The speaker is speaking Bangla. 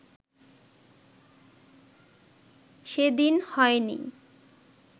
সেদিন হয় নি